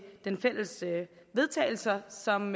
vedtagelse som